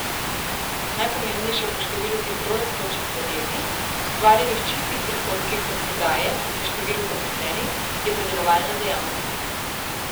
Najpomembnejša po številu hitro rastočih podjetij, ustvarjenih čistih prihodkih od prodaje in številu zaposlenih je predelovalna dejavnost.